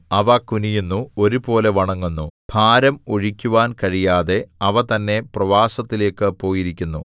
അവ കുനിയുന്നു ഒരുപോലെ വണങ്ങുന്നു ഭാരം ഒഴിക്കുവാൻ കഴിയാതെ അവ തന്നെ പ്രവാസത്തിലേക്കു പോയിരിക്കുന്നു